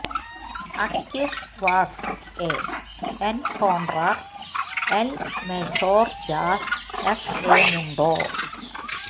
അക്വിസ് വാസ് എ എൻകോണ്ട്രാർ എൽ മെജോർ ജാസ് എസ് എ മുണ്ടോ